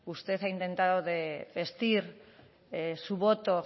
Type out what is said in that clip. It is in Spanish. usted ha intentado vestir su voto